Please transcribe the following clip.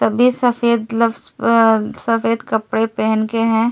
तभी सफेद ग्लव्स अ सफेद कपड़े पहन के हैं।